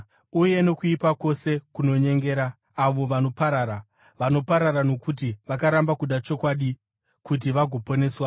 uye nokuipa kwose kunonyengera avo vanoparara. Vanoparara nokuti vakaramba kuda chokwadi uti vagoponeswa.